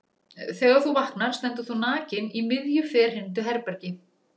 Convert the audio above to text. Þegar þú vaknar stendur þú nakinn í miðju ferhyrndu herbergi.